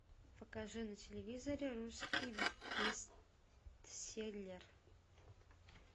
покажи на телевизоре русский бестселлер